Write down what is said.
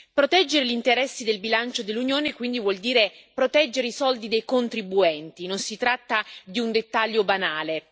Proteggere gli interessi del bilancio dell'Unione, quindi, vuol dire proteggere i soldi dei contribuenti non si tratta di un dettaglio banale.